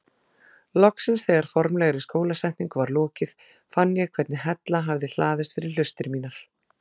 Loksins þegar formlegri skólasetningu var lokið fann ég hvernig hella hafði hlaðist fyrir hlustir mínar.